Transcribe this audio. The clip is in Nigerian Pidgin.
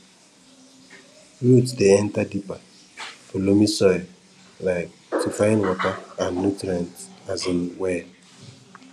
root dey enter deeper for loamy soil um to find water and nutrients um well